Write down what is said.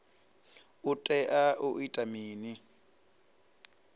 u tea u ita mini